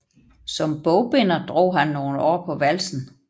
Som bogbinder drog han nogle år på valsen